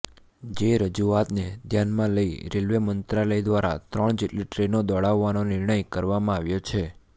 જે રજૂઆતને ધ્યાનમાં લઇ રેલવે મંત્રાલય દ્વારા ત્રણ જેટલી ટ્રેનો દોડાવવાનો નિર્ણય કરવામાં આવ્યો છે